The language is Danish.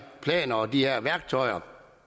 planer og af de her værktøjer